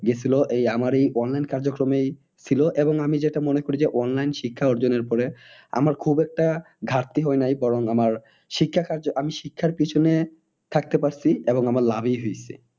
গিয়েছিলো এই আমার এই online কার্যক্রমেই ছিল এবং আমি যেটা মনে করি যে online শিক্ষা অর্জনের ফলে আমার খুব একটা ঘাটতি হয় নাই বরং আমার শিক্ষা কার্য আমি শিক্ষার পেছনে থাকতে পারছি এবং আমার লাভই হইছে।